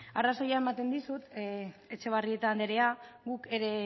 arrazoia ematen dizut etxebarrieta andrea guk ere